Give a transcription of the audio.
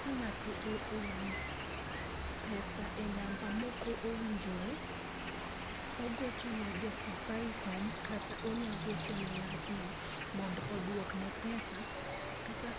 Ka ng’ato ooro pesa e namba mok owinjore, ogoche ne jo Safaricom kata onya docho ne ng'atno mond oduokne pesa. Kata